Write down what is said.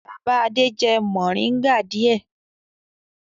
Bàbá Adé jẹ mòríngà díẹ̀.